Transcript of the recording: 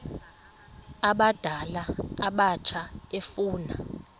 abadala abatsha efuna